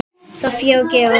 Soffía og Georg.